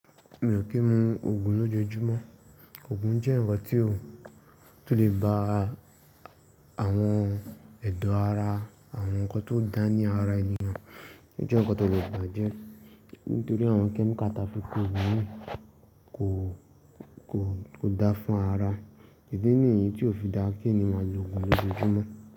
Mi ò kí ń mu òògùn lójoojúmọ́. Òògùn jẹ́ nǹkan tí ó lè ba àwọn ẹ̀dọ̀ ara, àwọn nǹkan tó dà ní ara ènìyàn, ó jẹ́ nǹkan tó lè bàjẹ́ nítorí àwọn chemical tí fi pọ òògùn na ko kò dá fún ara. Idi níyi tí ò fi dáa kí ènìyàn lo òògùn lójoojúmọ́